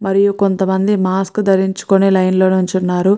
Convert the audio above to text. మరియు కొంతమంది మాస్క్ ధరించుకుని లైన్ లో నించున్నారు.